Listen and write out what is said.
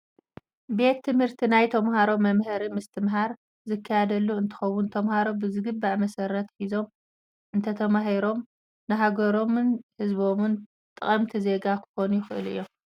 ቤት ትምህርቲ ናይ ተማሃሮ መምሃሪ ምስትምሃር ዝካየደሉ እንትከውን፣ ተማሃሮ ብዝግባእ መሰረት ሒዞም እንተተማሂሮም ንሃገሮምን ህዝቦምን ጠቀምቲ ዜጋ ክኮኑ ይክእሉ እዩም።